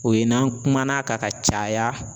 O ye n'an kumana kan ka caya